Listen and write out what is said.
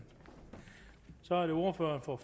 så er det ordføreren for